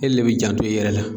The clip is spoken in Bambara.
E le bɛ janto i yɛrɛ la.